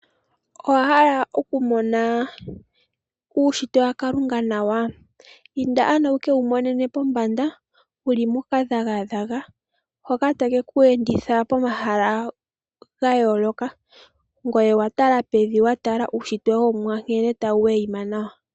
Owa hala okumona uunshitwe wakalunga nawa? Inda ano wu kewumonene pombanda, wu li mokadhagadhaga hoka ta keku enditha pomahala gayooloka. Ngoye owa tala pevi wa tala uunshitwe womuwa nkene ta wu weyima nawa.